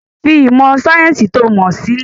Fi ìmọ̀ sayẹ́nsi to mọ sílẹ̀!